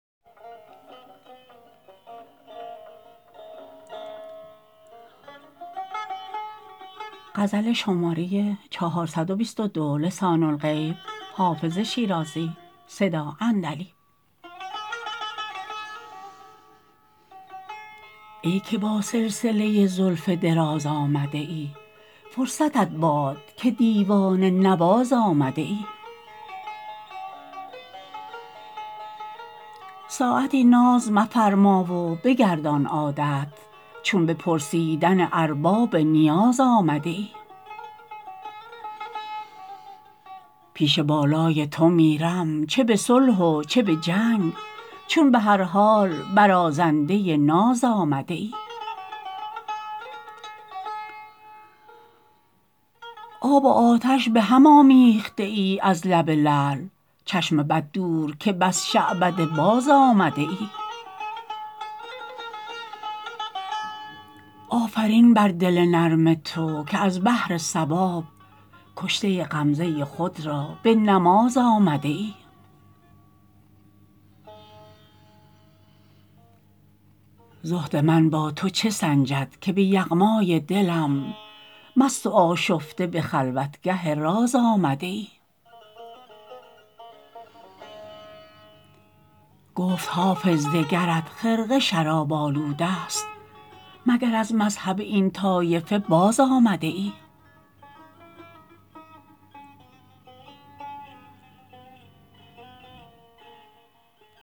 ای که با سلسله زلف دراز آمده ای فرصتت باد که دیوانه نواز آمده ای ساعتی ناز مفرما و بگردان عادت چون به پرسیدن ارباب نیاز آمده ای پیش بالای تو میرم چه به صلح و چه به جنگ چون به هر حال برازنده ناز آمده ای آب و آتش به هم آمیخته ای از لب لعل چشم بد دور که بس شعبده باز آمده ای آفرین بر دل نرم تو که از بهر ثواب کشته غمزه خود را به نماز آمده ای زهد من با تو چه سنجد که به یغمای دلم مست و آشفته به خلوتگه راز آمده ای گفت حافظ دگرت خرقه شراب آلوده ست مگر از مذهب این طایفه باز آمده ای